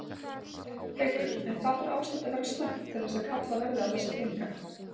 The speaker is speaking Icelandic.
Haukur: En hvað þarf ástandið að vera slæmt til að kallað verði á þessa peninga?